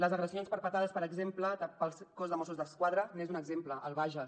les agressions perpetrades per exemple pel cos de mossos d’esquadra en són un exemple al bages